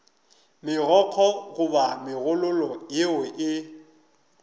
megokgo goba megololo yeo e